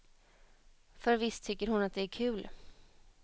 För visst tycker hon att det är kul.